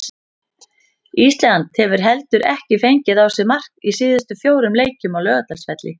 Ísland hefur heldur ekki fengið á sig mark í síðustu fjórum leikjum á Laugardalsvelli.